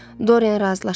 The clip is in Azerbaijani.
Doriyen razılaşmadı.